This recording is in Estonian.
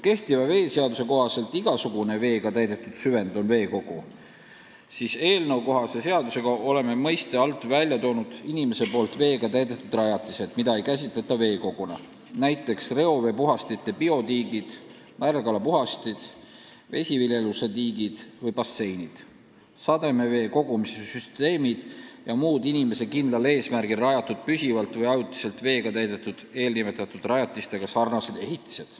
Kehtiva seaduse kohaselt on veekogu igasugune vett täis süvend, eelnõukohases seaduses on selle mõiste alt välja toodud inimese poolt veega täidetud rajatised, mida ei käsitata veekoguna, näiteks reoveepuhastite biotiigid, märgalapuhastid, vesiviljeluse tiigid ja basseinid, sademevee kogumise süsteemid ja muud inimese poolt kindlal eesmärgil rajatud püsivalt või ajutiselt veega täidetud eelnimetatud rajatistega sarnased ehitised.